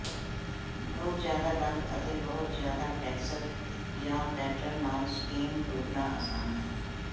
ਬਹੁਤ ਜ਼ਿਆਦਾ ਰੰਗ ਅਤੇ ਬਹੁਤ ਜ਼ਿਆਦਾ ਟੈਕਸਟ ਜਾਂ ਪੈਟਰਨ ਨਾਲ ਸਪੇਸ ਡੁੱਬਣਾ ਆਸਾਨ ਹੈ